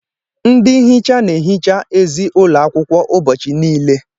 Ndị nhicha na-ehicha ezi ụlọ akwụkwọ ụbọchị niile.